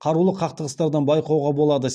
қарулы қақтығыстардан байқауға болады